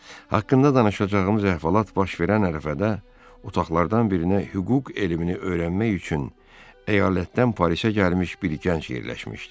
Haqqında danışacağımız əhvalat baş verən ərəfədə otaqlardan birinə hüquq elmini öyrənmək üçün əyalətdən Parisə gəlmiş bir gənc yerləşmişdi.